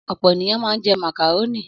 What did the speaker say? Ọ̀pọ̀ ènìyàn máa ń jẹ màkàrónì.